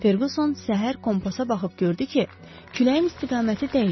Ferqson səhər kompasa baxıb gördü ki, küləyin istiqaməti dəyişib.